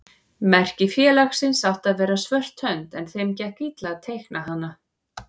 Merki félagsins átti að vera svört hönd en þeim gekk illa að teikna hana.